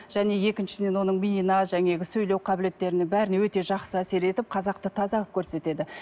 және екіншіден оның миына жаңағы сөйлеу қабілеттеріне бәріне өте жақсы әсер етіп қазақты таза қылып көрсетеді